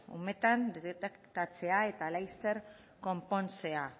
umetan detektatzea eta laster konpontzea